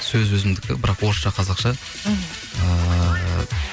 сөзі өзімдікі бірақ орысша қазақша мхм ыыы